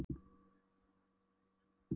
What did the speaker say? Þegar vetrarnóttin feykti henni inn sofnaði ég.